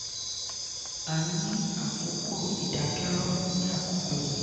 a ń ní àkókò ìdákẹ́rọ̀ ní àkókò yìí".